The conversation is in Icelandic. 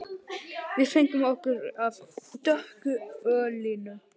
Við fengum okkur af dökku ölinu.